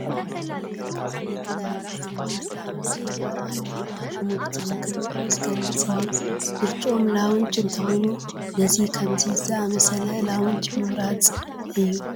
ፍሉይ መልክ ዘለዎ ታሪክ ዝበሃል ላውንጅ ይርአ ኣሎ፡፡ ሽሙ ብትኽክል ንዑዑ ዝገልፅ እዩ፡፡ ምርጭኦም ላውንጅ እንተኾይኑ ነዚ ከምዚ ዝኣምሰለ ላውንጅ ምምራፅ እዩ፡፡